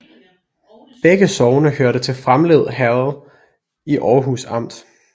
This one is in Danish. Begge sogne hørte til Framlev Herred i Aarhus Amt